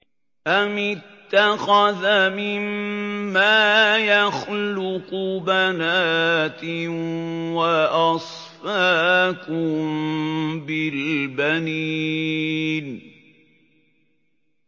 أَمِ اتَّخَذَ مِمَّا يَخْلُقُ بَنَاتٍ وَأَصْفَاكُم بِالْبَنِينَ